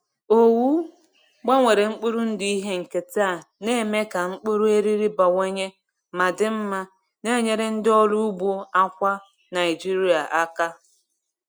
Owu gbanwere mkpụrụ ndụ ihe nketa na-eme ka mkpụrụ eriri bawanye ma dị mma, na-enyere ndị ọrụ ugbo akwa Naijiria aka.